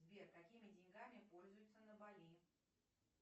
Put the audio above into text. сбер какими деньгами пользуются на бали